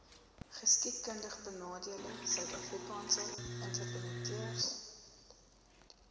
geskiedkundigbenadeelde suidafrikaanse entrepreneurs